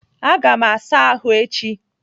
Aga m asa ahụ echi.